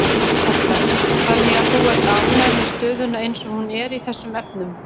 Edda: Þannig að þú ert ánægður með stöðuna eins og hún er í þessum efnum?